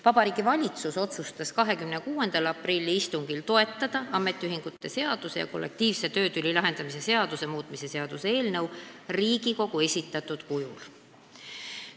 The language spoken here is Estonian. Vabariigi Valitsus otsustas 26. aprilli istungil toetada ametiühingute seaduse ja kollektiivse töötüli lahendamise seaduse muutmise seaduse eelnõu Riigikogu esitatud kujul.